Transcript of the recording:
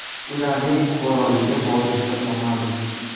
Ularning fuqaroligi hozircha noma’lum.